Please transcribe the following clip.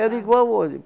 Era igual hoje.